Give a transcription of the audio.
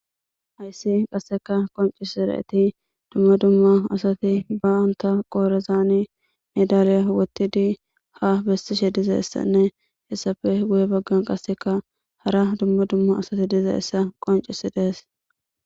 hayssi qasseka qoncisi raeti dumma dumma asati ba7anta qoorezaani medaliya wottidi ha bessishe diza essanne hessafe guye baggan qasseka hara dumma dumma asati diza essa qoncisi dees